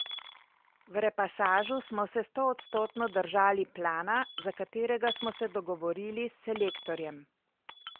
V repasažu smo se stoodstotno držali plana, za katerega smo se dogovorili s selektorjem.